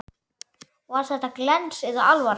Var þetta glens eða alvara?